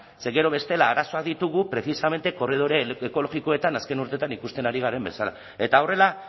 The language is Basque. ze gero bestela arazoak ditugu precisamente korridore ekologikoetan azken urteetan ikusten ari garen bezala eta horrela